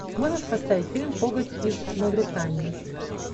можешь поставить фильм коготь из мавритании